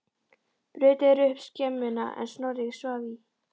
Brutu þeir upp skemmuna er Snorri svaf í.